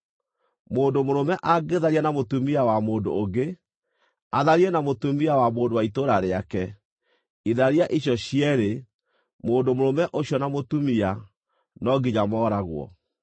“ ‘Mũndũ mũrũme angĩtharia na mũtumia wa mũndũ ũngĩ, atharie na mũtumia wa mũndũ wa itũũra rĩake, itharia icio cierĩ, mũndũ mũrũme ũcio na mũtumia, no nginya mooragwo.